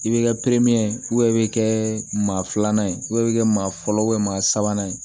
I bɛ kɛ ye i bɛ kɛ maa filanan ye i bɛ kɛ maa fɔlɔ maa sabanan ye